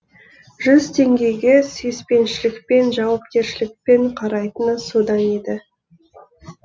жүз теңгеге сүйіпеншілікпен жауапкершілікпен қарайтыны содан еді